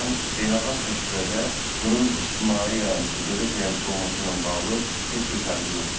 Beynəlxalq təcrübədə bunun ictimai yayımçı, dövlət yayımçısı olması ilə bağlı heç bir fərqi yoxdur.